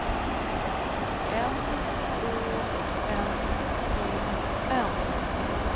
M Å N E N